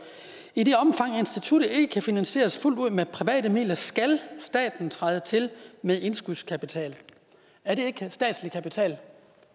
i det omfang instituttet ikke kan finansieres fuldt ud med private midler skal staten træde til med indskudskapital er det ikke statslig kapital